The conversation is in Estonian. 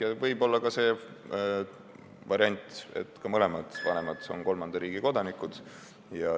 Ja võib olla ka selline variant, et mõlemad vanemad on kolmanda riigi kodanikud.